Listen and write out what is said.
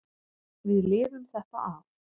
Við lifum þetta af.